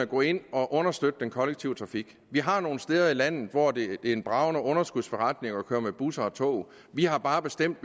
gå ind og understøtte den kollektive trafik vi har nogle steder i landet hvor det er en bragende underskudsforretning at køre med busser og tog vi har bare bestemt